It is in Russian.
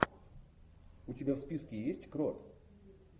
у тебя в списке есть крот